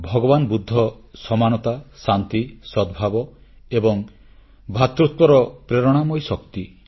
ଭଗବାନ ବୁଦ୍ଧ ସମାନତା ଶାନ୍ତି ସଦ୍ଭାବ ଏବଂ ଭ୍ରାତୃତ୍ୱର ପ୍ରେରଣାଦାୟୀ ଶକ୍ତି